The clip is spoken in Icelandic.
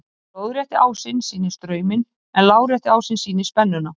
lóðrétti ásinn sýnir strauminn en lárétti ásinn sýnir spennuna